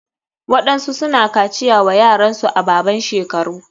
Waɗansu suna kaciya wa yaransu a baban shekaru.